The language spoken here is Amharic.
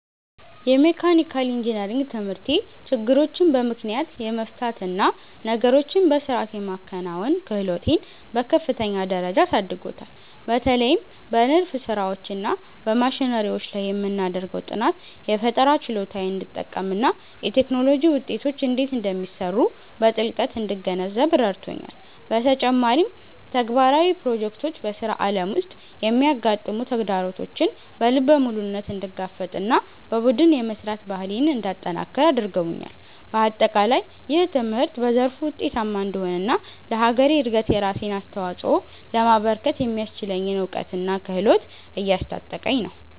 የመካኒካል ኢንጂነሪንግ ትምህርቴ ችግሮችን በምክንያት የመፍታት እና ነገሮችን በሥርዓት የማከናወን ክህሎቴን በከፍተኛ ደረጃ አሳድጎታል። በተለይም በንድፍ ሥራዎች እና በማሽነሪዎች ላይ የምናደርገው ጥናት፣ የፈጠራ ችሎታዬን እንድጠቀምና የቴክኖሎጂ ውጤቶች እንዴት እንደሚሰሩ በጥልቀት እንድገነዘብ ረድቶኛል። በተጨማሪም፣ ተግባራዊ ፕሮጀክቶች በሥራ ዓለም ውስጥ የሚያጋጥሙ ተግዳሮቶችን በልበ ሙሉነት እንድጋፈጥና በቡድን የመሥራት ባህሌን እንዳጠነክር አድርገውኛል። በአጠቃላይ፣ ይህ ትምህርት በዘርፉ ውጤታማ እንድሆንና ለሀገሬ እድገት የራሴን አስተዋፅኦ ለማበርከት የሚያስችለኝን እውቀትና ክህሎት እያስታጠቀኝ ነው።